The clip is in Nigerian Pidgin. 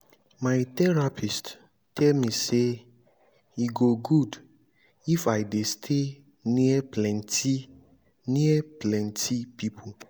my therapist tell me say e go good if i dey stay near plenty near plenty people